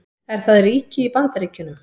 Er það ríki í Bandaríkjunum?